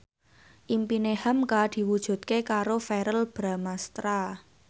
impine hamka diwujudke karo Verrell Bramastra